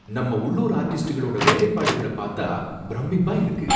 நம்ம உள்ளூர் ஆர்டிஸ்ட்களோட வேலைப்பாடுகள பாத்தா ப்ரமிப்பா இருக்கு!